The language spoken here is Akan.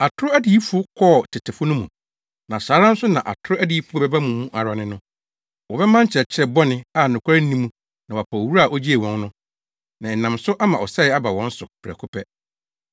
Atoro adiyifo kɔɔ tetefo no mu, na saa ara nso na atoro adiyifo bɛba mo mu ara ne no. Wɔbɛma nkyerɛkyerɛ bɔne a nokware nni mu na wɔapa Owura a ogyee wɔn no, na ɛnam so ama ɔsɛe aba wɔn so prɛko pɛ.